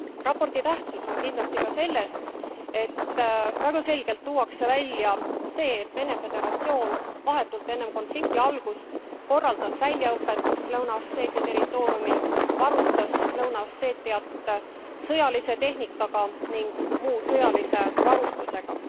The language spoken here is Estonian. Raporti tähtsus on kindlasti ka selles, et väga selgelt tuuakse välja see, et Vene Föderatsioon vahetult enne konflikti algust korraldas väljaõpet Lõuna Osseetia territooriumil, varustas Lõuna Osseetiat sõjalise tehnikaga ning muu sõjalise varustusega.